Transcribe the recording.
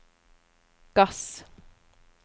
gass